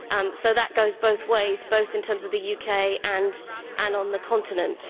So that goes both ways, both in terms of the UK and on the continent.